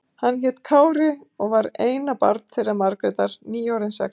Hann hét Kári og var eina barn þeirra Margrétar, nýorðinn sex ára.